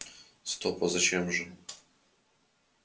стоп а зачем же